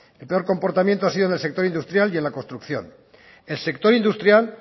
el peor comportamiento ha sido en el sector industrial y en la construcción el sector industrial